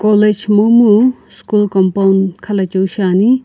college momu school compound khalachiu shiani.